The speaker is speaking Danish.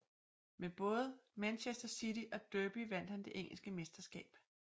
Med både Manchester City og Derby vandt han det engelske mesterskab